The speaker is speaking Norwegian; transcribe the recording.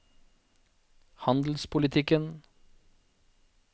handelspolitikken